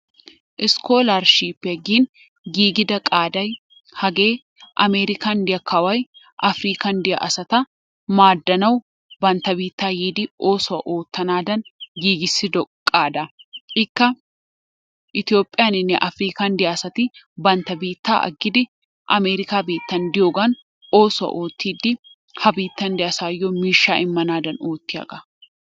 Iskoolarshipiyaa gin giigida qaaday hagee amerikan de'iyaa kawoy apirikaan diyaa asat maaddanawu bantta biittaa yiidi oossuwaa oottanadan giigissido qaadaa. Ikka itoophiyaaninne apirikaan diyaa asati bantta biittaa aggidi amerikkaa biittan diyoogan oosuwaa oottidi ha biittan diyaa asayoo miishshaa immanaadan ootiyaagaa.